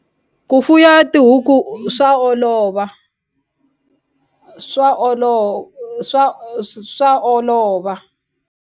Ku fuya tihuku swa olova swa swa swa olova.